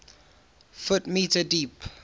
ft m deep